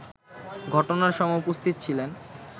ঘটনার সময় উপস্থিত ছিলেন